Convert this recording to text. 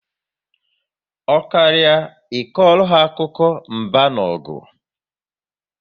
Ọ karịa I kọrọ ha akụkọ mba na ọgụ